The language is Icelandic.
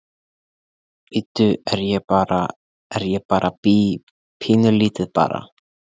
Bíddu, er ég bara, er ég bara bí, pínulítið barn?